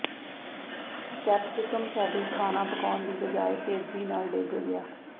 capsicum ਸਾਡੀ ਖਾਣਾ ਪਕਾਉਣ ਦੀ ਬਜਾਏ ਤੇਜ਼ੀ ਨਾਲ ਡਿੱਗ ਗਿਆ